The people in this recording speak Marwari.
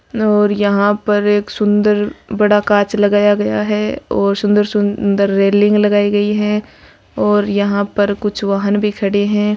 और यहां पर एक सुंदर बड़ा कांच लगाया गया है और सुंदर-सुंदर रेलिंग लगाई गई है और यहां पर कुछ वाहन भी खड़े हैं।